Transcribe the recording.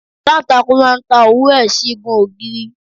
Aláǹtakùn má ń ta òwú ẹ̀ sí igun ògiri.